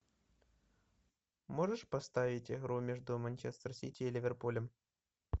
можешь поставить игру между манчестер сити и ливерпулем